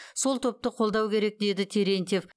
сол топты қолдау керек деді терентьев